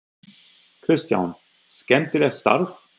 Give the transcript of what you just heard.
Kristján: Skemmtilegt starf?